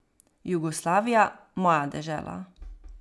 Jugoslavija, moja dežela.